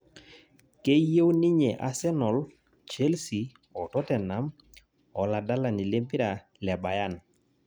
Keyieu ninye Arsenal, Chelsea o tottenham oladalani lempira le Bayern